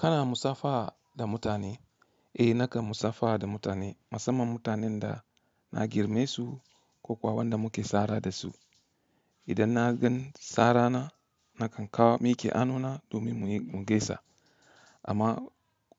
Kana musafaha da mutane? Eh nakan musafaha da mutane, musamman mutanen da na girme su ko kuwa wanda muke tsara da su. Idan na gan tsarana nakan kawo miki hannu na domin mu gaisa. Amma